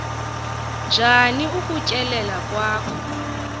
njani ukutyelela kwakho